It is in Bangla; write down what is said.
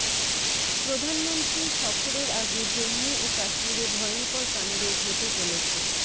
প্রধানমন্ত্রীর সফরের আগে জম্মু ও কাশ্মীরে ভয়ঙ্কর কাণ্ড ঘটে চলেছে